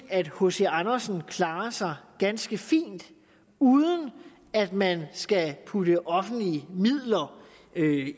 at hc andersen klarer sig ganske fint uden at man skal putte offentlige midler